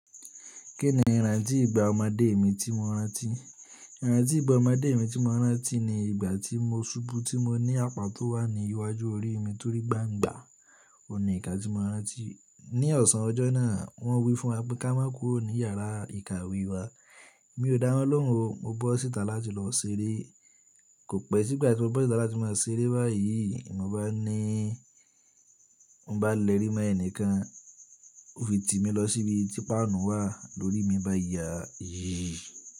Kí ni ìrántí ìgbà ọmọdé mi tí mo rántí? Ìrántí ìgbà ọmọdé mi tí mo rántí ni ìgbà tí mo ṣubú tí mo ní apá tó wà ní iwájú orí mi torí gbangba. O ní ǹkan tí mo rántí. Ni ọ̀sán ọjọ́ náà, wọ́n wí fún wa pé ká máa kúrò ní yàrá ìkàwé wa. Mi ò dá wọn lóhùn o. Mo bọ́ síta láti lọ ṣeré. Ko pẹ́ si gba ti mo bọ́ síta, ti mo ṣeré bayii. Mo bá ní, mo bá lẹ́rì mọ́ ẹnìkan, ó fi tì mí lọ síbi tí páànù wà lórí mi báyìí yà yí.